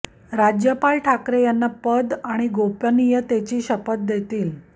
राज्यपाल ठाकरे यांना पद आणि गोपनीयतेची शपथ देतील